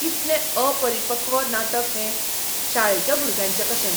कितलें अपरिपक्व नाटक हें. शाळेच्या भुरग्यांचें कशें!